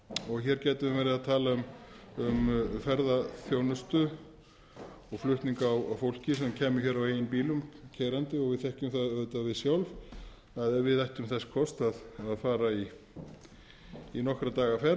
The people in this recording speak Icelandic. og hér gætum við verið að tala um ferðaþjónustu og flutning á fólki sem kæmi hér á eigin bílum keyrandi við þekkjum það auðvitað við sjálf að ef við ættum þess kost að fara í nokkurra daga ferð